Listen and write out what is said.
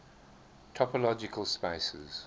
topological spaces